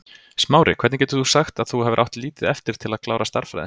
Smári, hvernig getur þú sagt að þú hafir átt lítið eftir til að klára stærðfræði?